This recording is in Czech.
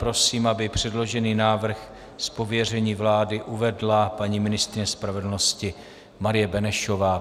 Prosím, aby předložený návrh z pověření vlády uvedla paní ministryně spravedlnosti Marie Benešová.